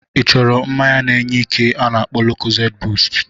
Ị chọrọ mmanya na-enye ike a na-akpọ Locozed Bost?